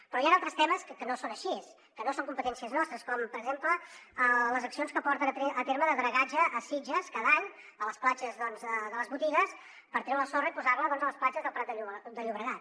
però hi han altres temes que no són així que no són competències nostres com per exemple les accions que porten a terme de dragatge a sitges cada any a la platja de les botigues per treure la sorra i posar la a les platges del prat de llobregat